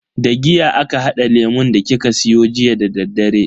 Da giya aka hada lemun da kika siyo jiya dadaddare.